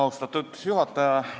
Austatud juhataja!